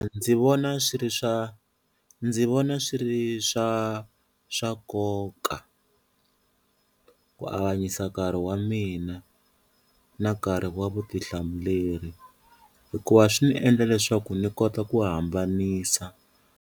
Ndzi vona swi ri swa ndzi vona swi ri swa swa nkoka ku avanyisa nkarhi wa mina na nkarhi wa vutihlamuleri hikuva swi ni endla leswaku ni kota ku hambanisa.